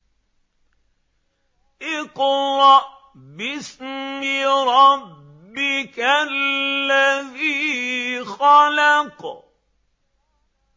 اقْرَأْ بِاسْمِ رَبِّكَ الَّذِي خَلَقَ